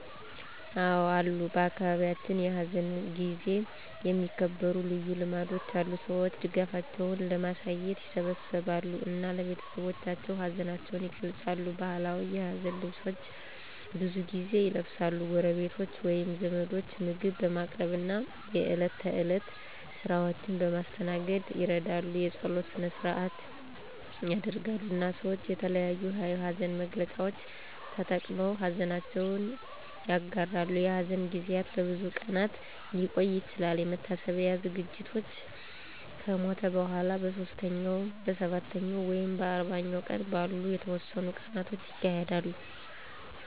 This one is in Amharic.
አዎ አሉ በአካባቢያችን፣ በሐዘን ጊዜ የሚከበሩ ልዩ ልማዶች አሉ። ሰዎች ድጋፋቸውን ለማሳየት ይሰበሰባሉ እና ለቤተሰቦቻቸው ሀዘናቸውን ይገልጻሉ። ባህላዊ የሀዘን ልብሶች ብዙ ጊዜ ይለብሳሉ፣ ጎረቤቶች ወይም ዘመዶች ምግብ በማቅረብ እና የእለት ተእለት ስራዎችን በማስተናገድ ይረዳሉ። የጸሎት ሰነ-ሰአት ይደረጋል፣ እና ሰወች የተለያዮ የሀዘን መግለጫዎች ተጠቅመው ሀዘነችውን ይጋራሉ። የሐዘን ጊዜያት ለብዙ ቀናት ሊቆዩ ይችላሉ፣ የመታሰቢያ ዝግጅቶች ከሞቱ በኋላ በሦስተኛው፣ በሰባተኛው ወይም በአርባኛው ቀን ባሉ የተወሰኑ ቀናት ይካሄዳሉ።